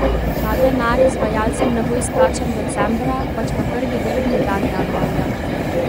Ta denar izvajalcem ne bo izplačan decembra, pač pa prvi delovni dan januarja.